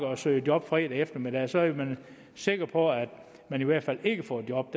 og søger job fredag eftermiddag så er man sikker på at man i hvert fald ikke får et job